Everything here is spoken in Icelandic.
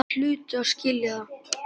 Þeir hlutu að skilja það.